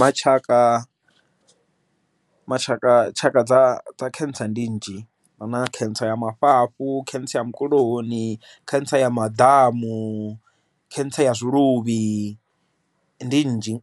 Matshaka mashaka tshaka dza khentsa ndi nzhi hu na cancer ya mafhafhu, cancer ya mukuloni, cancer ya maḓamu, cancer ya zwiluvhi ndi nnzhi